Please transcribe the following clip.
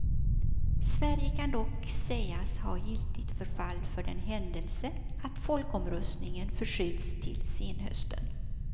Sverige kan dock sägas ha giltigt förfall för den händelse att folkomröstningen förskjuts till senhösten.